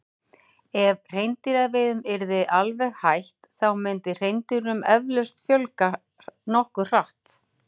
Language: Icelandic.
Ef hreindýraveiðum yrði alveg hætt þá myndi hreindýrum eflaust fjölga nokkuð hratt.